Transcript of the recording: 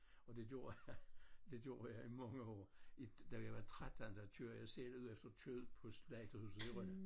Og det gjorde jeg det gjorde jeg i mange år i da jeg var 13 der kørte jeg selv ud efter kød på slagterhuset i Rønne